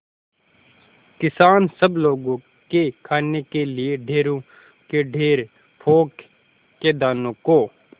किसान सब लोगों के खाने के लिए ढेरों के ढेर पोंख के दानों को